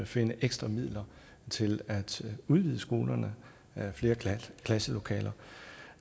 finde ekstra midler til at udvide skolerne med flere klasselokaler